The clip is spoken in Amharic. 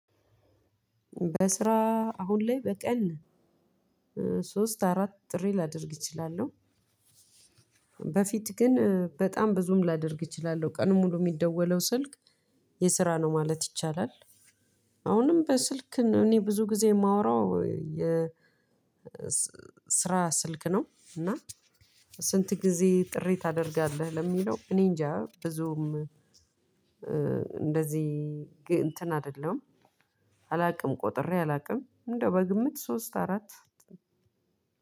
በስራ አሁን ላይ በቀን ሶስት አራት ጥሪ ላደርግ እችላለው በፊት ግን በጣም ብዙም ላደርግ እችላለው ቀኑ ሙሉ ሚደወለው ስልክ የስራ ነው ማለት ይቻላል። አሁንም በስልክ እኔ ብዙ ጊዜ የማወራው የ ስራ ስልክ ነው። እና ስንት ጊዜ ጥሪ ታደርጋለህ? ለሚለው እኔ እንጃ ብዙም። እንደዚህ እንትን አይደለም። አላውቅም ቆጥሬ አላውቅም እንደው በግምት ሶስት አራት